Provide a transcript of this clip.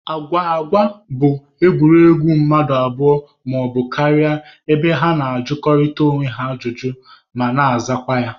Agwụgwa bụ egwuregwu mmadụ abụọ maọbụ karịa ebe ha na-ajụkọrịta onwe ha ajụjụ ma na-azakwa ya